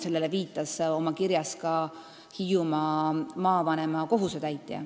Sellele viitas oma kirjas ka Hiiumaa maavanema kohusetäitja.